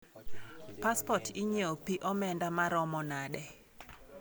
Paspot inyiewo pi omenda maromo nade?